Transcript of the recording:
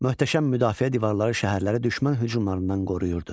Möhtəşəm müdafiə divarları şəhərləri düşmən hücumlarından qoruyurdu.